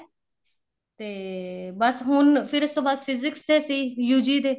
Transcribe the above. ਤੇ ਬੱਸ ਹੁਣ ਫਿਰ ਉਸ ਤੋਂ ਬਾਅਦ physics ਦੇ ਸੀ UG ਦੇ